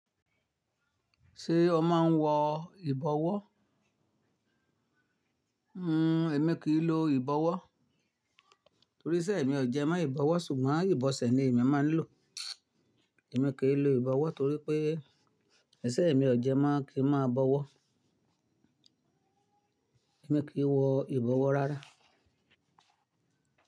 Ṣé o máa ń wọ ìbọwọ́? Hhm, èmi kì í lo ìbọwọ́ torí isẹ̀ mi ò jẹ mó ìbọwọ́ ṣùgbọ́n ìbọ̀sẹ̀ ni èmi máa ń lò. Èmi kì í lo ìbọwọ́ torí pé isẹ̀ mi ò jẹ mó kí n máa bọwọ́. Èmi kì í wọ ìbọwọ́ rárá.